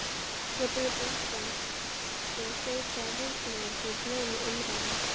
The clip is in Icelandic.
Jafnvel uppi á Íslandi geisaði Heimsstyrjöldin í blöðum og umræðum.